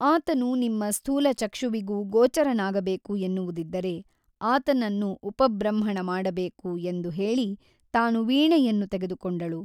ಆತನು ನಿಮ್ಮ ಸ್ಥೂಲಚಕ್ಷುವಿಗೂ ಗೋಚರನಾಗಬೇಕು ಎನ್ನುವುದಿದ್ದರೆ ಆತನನ್ನು ಉಪಬೃಂಹಣ ಮಾಡಬೇಕು ಎಂದು ಹೇಳಿ ತಾನು ವೀಣೆಯನ್ನು ತೆಗೆದುಕೊಂಡಳು.